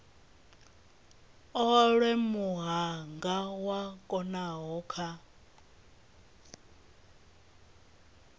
olwe muhanga u konaho kha